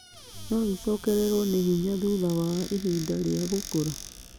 No ĩcokererũo nĩ hinya thutha wa ihinda rĩa gũkũra.